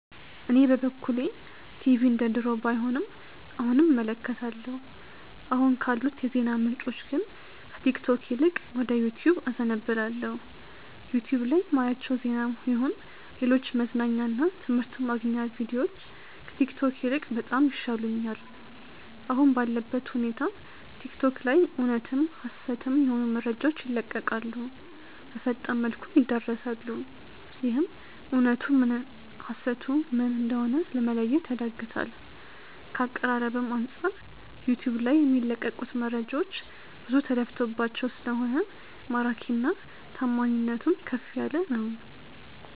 እኔ በበኩሌ ቲቪ እንደድሮው ባይሆንም አሁንም እመለከታለሁ። አሁን ካሉት የዜና ምንጮች ግን ከቲክቶክ ይልቅ ወደ ዩቲዩብ አዘነብላለው። ዩቲዩብ ላይ ማያቸው ዜናም ይሁን ሌሎች መዝናኛ እና ትምህርት ማግኛ ቪድዮዎች ከቲክቶክ ይልቅ በጣም ይሻሉኛል። አሁን ባለበት ሁኔታ ቲክቶክ ላይ እውነትም ሀሰትም የሆኑ መረጃዎች ይለቀቃሉ፣ በፈጣን መልኩም ይዳረሳሉ፤ ይህም እውነቱ ምን ሀሰቱ ም እንደሆነ ለመለየት ያዳግታል። ከአቀራረብም አንጻር ዩቲዩብ ልይ የሚለቀቁት መረጃዎች ብዙ ተለፍቶባቸው ስለሆነ ማራኪና ታማኒነቱም ከፍ ያለ ነው።